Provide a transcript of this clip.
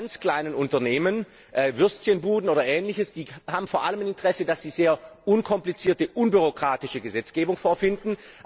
Die ganz kleinen Unternehmen Würstchenbuden oder ähnliches haben vor allem ein Interesse, dass sie eine sehr unkomplizierte und unbürokratische Gesetzgebung vorfinden.